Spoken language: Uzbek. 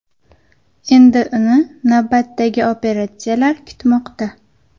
Endi uni navbatdagi operatsiyalar kutmoqda.